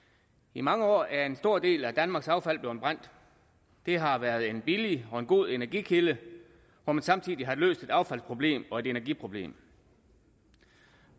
i mange år er en stor del af danmarks affald blevet brændt det har været en billig og god energikilde hvor man samtidig har løst et affaldsproblem og et energiproblem